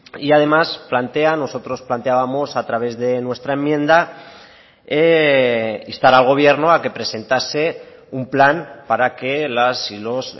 y además plantean nosotros planteábamos a través de nuestra enmienda instar al gobierno a que presentase un plan para que las y los